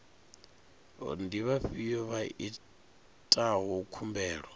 ndi vhafhio vha itaho khumbelo